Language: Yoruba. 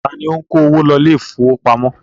Ta ni ó ń kó owó lọ ilé ìfowópamọ́?